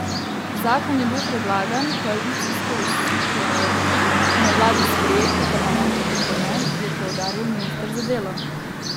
Zakon je bil predlagan, koalicijsko usklajevan, na vladi sprejet, v parlamentu potrjen, je poudaril minister za delo.